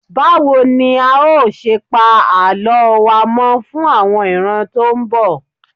Báwo ni a ó ṣe pa Àlọ́ wa mọ́ fún àwọn ìran tó ń bọ̀?